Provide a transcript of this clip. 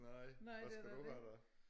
Nej hvad skal du have da